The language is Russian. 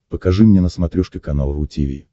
покажи мне на смотрешке канал ру ти ви